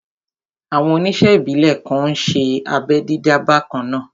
Àwọn oníṣe ìbílè kan n ṣé abẹ́ dídá bakanna